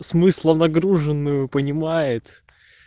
смысла нагруженную понимает